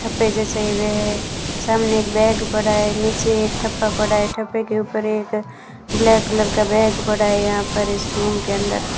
यहां पे जैसे वे सामने एक बैग पड़ा है नीचे ठप्पा पड़ा है ठप्पे के ऊपर एक ब्लैक कलर का बैग पड़ा है यहां पर इस रूम के अंदर --